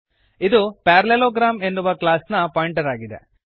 ಇದು ಪ್ಯಾರಲೆಲೋಗ್ರಾಮ್ ಎನ್ನುವ ಕ್ಲಾಸ್ ನ ಪಾಯಿಂಟರ್ ಆಗಿದೆ